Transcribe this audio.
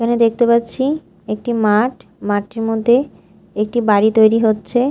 এখানে দেখতে পাচ্ছি একটি মাঠ মাঠটির মধ্যে একটি বাড়ি তৈরি হচ্ছে।